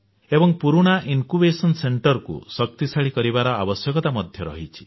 ଏବଂ ପୁରୁଣା ଜ୍ଞାନାଙ୍କୁର କେନ୍ଦ୍ର କୁ ଶକ୍ତିଶାଳୀ କରିବାର ଆବଶ୍ୟକତା ମଧ୍ୟ ରହିଛି